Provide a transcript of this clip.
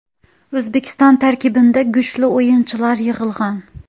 O‘zbekiston tarkibida kuchli o‘yinchilar yig‘ilgan.